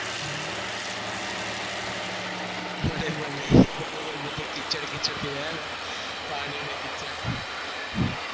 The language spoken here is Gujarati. મને પ નહી પાણી ને કીચડ ગમતું નહી